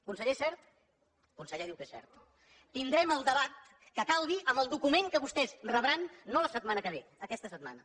conseller és cert tindrem el debat que calgui amb el document que vostès rebran no la setmana que ve aquesta setmana